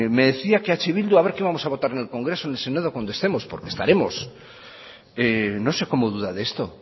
me decía que eh bildu a ver qué vamos a votar en el congreso en el senado cuando estemos porque estaremos no sé cómo duda de esto